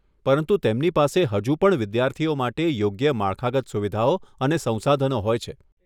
પરંતુ તેમની પાસે હજુ પણ વિદ્યાર્થીઓ માટે યોગ્ય માળખાગત સુવિધાઓ અને સંસાધનો હોય છે.